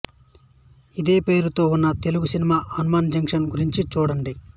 ఇదే పేరుతో ఉన్న తెలుగు సినిమా హనుమాన్ జంక్షన్ గురించి చూడండి